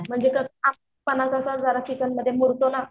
म्हणजे कस आंबटपणा कसा जरा चिकनमध्ये मुरतो ना.